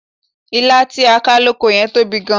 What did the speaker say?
Ilá tí a ká lóko yẹn tóbi gan-an.